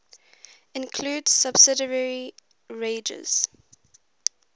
includes subsidiary wagers